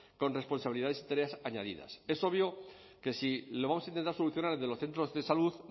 con responsabilidades y tareas añadidas es obvio que si lo vamos a intentar solucionar desde los centros de salud